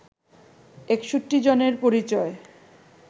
৬১ জনের পরিচয়